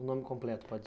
O nome completo pode ?